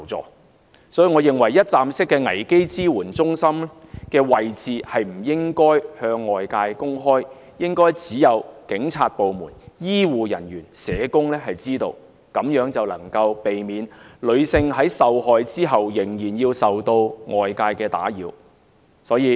因此，我認為一站式危機支援服務中心的位置不應該向外界公開，應該只有警察部門、醫護人員和社工知道，這樣便能夠避免女性在受害後仍然受到外界打擾。